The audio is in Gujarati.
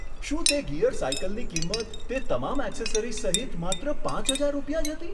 શું તે ગિયર સાયકલની કિંમત તે તમામ એક્સેસરીઝ સહિત માત્ર પાંચ હજાર રૂપિયા જ હતી?